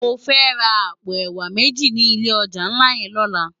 Mò fè rá àpó èwá méji ni ilé òjá nlá yèn lòlá